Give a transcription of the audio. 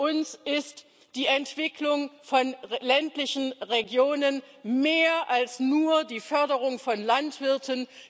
Für uns ist die Entwicklung von ländlichen Regionen mehr als nur die Förderung von Landwirten.